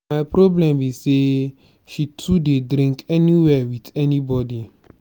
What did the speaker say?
my problem be say she too dey drink anywhere with anybody.